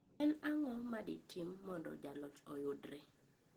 En ang'o ma di tim mondo jaloch oyudre.